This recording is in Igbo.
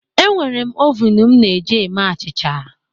Enwere m ovun m na-eji eme achịcha